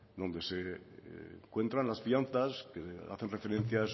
donde se encuentran las fianzas que hacen referencia